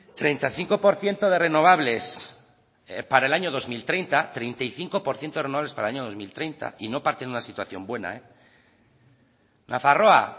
treinta y cinco por ciento de renovables para el año dos mil treinta treinta y cinco por ciento renovables para el año dos mil treinta y no parten de una situación buena nafarroa